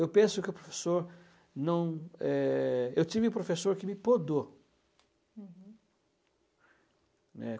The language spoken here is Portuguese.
Eu penso que o professor não é... Eu tive um professor que me podou. Uhum. É